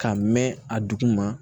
Ka mɛn a dugu ma